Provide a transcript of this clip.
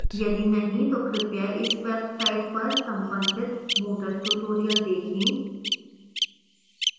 यदि नहीं तो कृपया इस website पर संबंधित moodle tutorials देखें